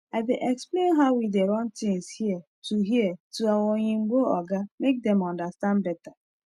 i dey explain how we dey run things here to here to our oyinbo oga make dem understand better